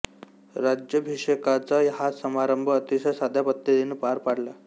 राज्याभिषेकाचा हा समारंभ अतिशय साध्या पद्धतीने पार पडला